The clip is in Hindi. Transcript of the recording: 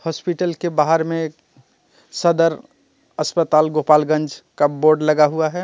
हॉस्पिटल के बाहर में सदर अस्पताल गोपालगंज का बोर्ड लगा हुआ है.